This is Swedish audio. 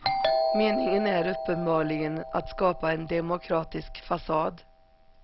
Meningen är uppenbarligen att skapa en demokratisk fasad.